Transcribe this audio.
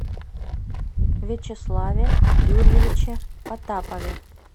вячеславе юрьевиче потапове